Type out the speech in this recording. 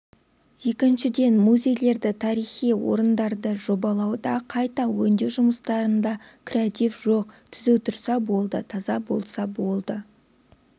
екіншіден музейлерді тарихи орындарды жобалауда қайта өңдеу жұмыстарында креатив жоқ түзу тұрса болды таза болса болды